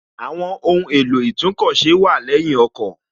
Àwọn ohùn èlò itúnkọ̀ ṣe wà lẹ́yìn ọkọ̀